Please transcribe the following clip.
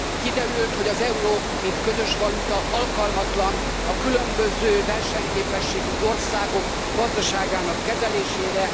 Kiderült, hogy az euró, mint közös valuta, alkalmatlan a különböző versenyképességű országok gazdaságának kezelésére.